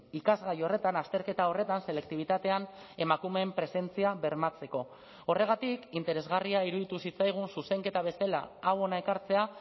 ikasgai horretan azterketa horretan selektibitatean emakumeen presentzia bermatzeko horregatik interesgarria iruditu zitzaigun zuzenketa bezala hau hona ekartzea